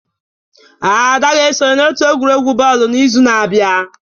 Ada ga-esonye n'otu egwuregwu bọọlụ n'izu na-abịa